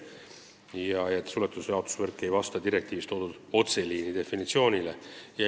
Ka ei vasta suletud jaotusvõrk otseliini definitsioonile.